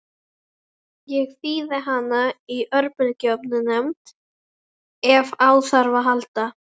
Ég þíði hana í örbylgjuofninum ef á þarf að halda.